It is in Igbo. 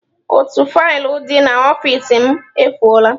Otu faịlụ dị n'ọfịs m efụo la.